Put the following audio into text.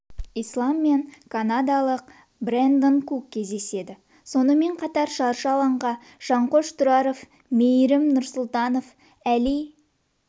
ислам мен канадалық брэндон кук кездеседі сонымен қатар шаршы алаңға жанқош тұраров мейірім нұрсұлтанов әли